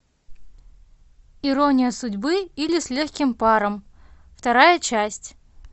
ирония судьбы или с легким паром вторая часть